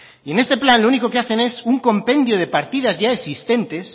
y en este plan lo único que hacen es un compendio de partidas ya existente